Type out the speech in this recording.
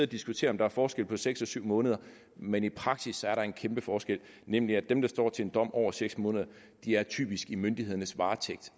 diskutere om der er forskel på seks og syv måneder men i praksis er der en kæmpe forskel nemlig at dem der står til en dom over seks måneder er typisk i myndighedernes varetægt